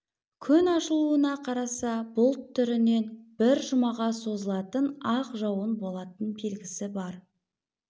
күн ашылуына қараса бұлт түрінен бір жұмаға созылатын ақ жауын болатын белгісі бар